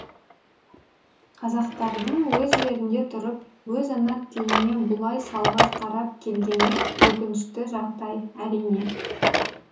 қазақтардың өз жерінде тұрып өз ана тіліне бұлай салғырт қарап келгені өкінішті жағдай әрине